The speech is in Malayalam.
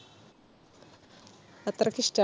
അത്രക്കിഷ്ട്ടാ